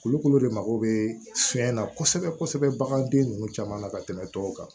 Kulukoro de mago bɛ fɛn na kosɛbɛ kosɛbɛ baganden ninnu caman na ka tɛmɛ tɔw kan